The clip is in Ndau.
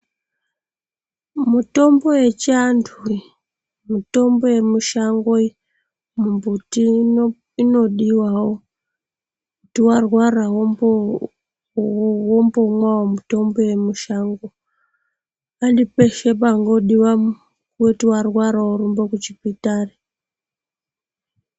Mutombo yechianhu iyi mitombo yemushango iyi ,mumbuti iyi inodiwawo kuti warwara wombomwayo mitombo yemushango ,handi peshe pangodiwa kuti warwara worumba kuchipatari.